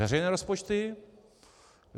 Veřejné rozpočty?